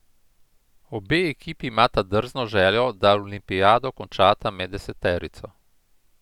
Obe ekipi imata drzno željo, da olimpijado končata med deseterico.